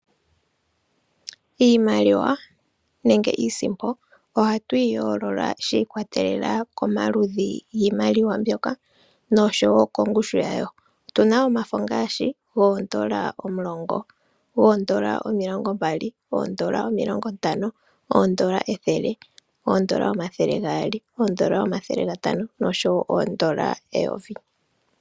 Iimaliwa nenge iisimpo ohatu yi yoolola shiikwatelela komaludhi giimaliwa mbyoka nosho wo kongushu yawo . Otu na omafo ngaashi goondola omulongo oshowo goondola omilongo mbali , oondola omilongo ntano , oondola ethele , oondola omathele gaali , oondola omathele gatano oshowo oondola eyovi .